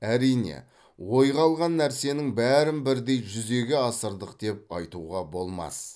әрине ойға алған нәрсенің бәрін бірдей жүзеге асырдық деп айтуға болмас